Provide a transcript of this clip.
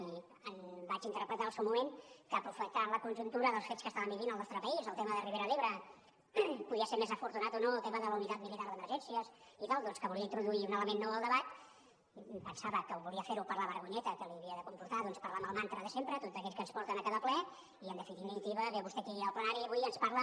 i vaig interpretar al seu moment que aprofitant la conjuntura dels fets que estàvem vivint al nostre país el tema de la ribera d’ebre podia ser més afortunat o no el tema de la unitat militar d’emergències i tal doncs que volia introduir un element nou al debat i pensava que volia fer ho per la vergonyeta que li havia de comportar parlar amb el mantra de sempre tot aquell que ens porten a cada ple i en definitiva ve vostè aquí al plenari avui i ens parla